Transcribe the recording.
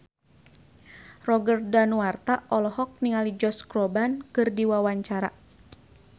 Roger Danuarta olohok ningali Josh Groban keur diwawancara